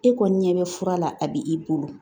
E kɔni ɲɛ bɛ fura la a b'i bolo